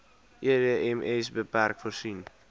edms bpk voorsien